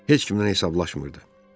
Heç kimdən hesablaşmırdı.